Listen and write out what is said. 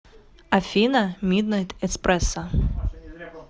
афина миднайт эспрессо